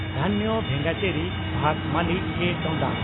ᱫᱷᱟᱱᱭᱚ ᱵᱷᱮᱸᱜᱟᱪᱮᱨᱤ ᱵᱷᱟᱥᱚ ᱢᱟᱞᱤ ᱠᱮᱹ (ᱴᱚᱰᱟ)